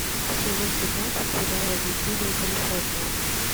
сезон пятнадцать сериала блудливая калифорния